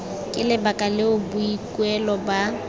ke lebaka leo boikuelo ba